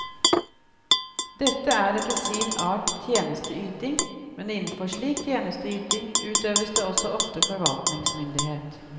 Dette er etter sin art tjenesteyting, men innenfor slik tjenesteyting utøves det også ofte forvaltningsmyndighet.